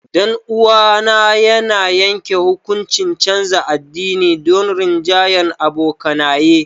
Danuwa na ya yanke hukuncin canza addini domin rinjahyan abokanaye.